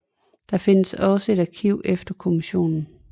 Der findes også et arkiv efter kommissionen